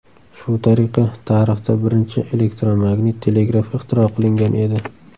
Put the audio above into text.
Shu tariqa, tarixda birinchi elektromagnit telegraf ixtiro qilingan edi.